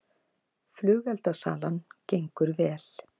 Flugeldasalan gengið vel